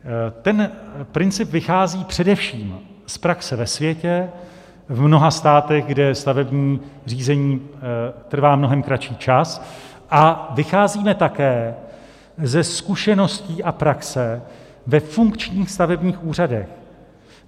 Ten princip vychází především z praxe ve světě v mnoha státech, kde stavební řízení trvá mnohem kratší čas, a vycházíme také ze zkušeností a praxe ve funkčních stavebních úřadech.